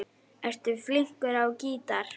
Ertu flinkur á gítar?